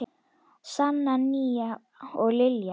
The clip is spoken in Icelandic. Sanna, Nína og Lilja.